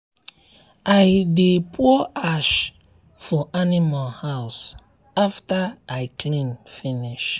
i dey pour ash for animal house after i clean finish.